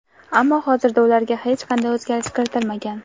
Ammo hozirda ularga hech qanday o‘zgarish kiritilmagan.